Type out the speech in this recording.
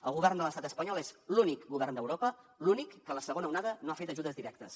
el govern de l’estat espanyol és l’únic govern d’europa l’únic que en la segona onada no ha fet ajudes directes